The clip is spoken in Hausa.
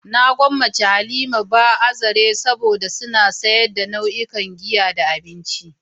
Na gwammace "Halima bar" a zarai saboda suna sayar da duk nau'in giya da abinci.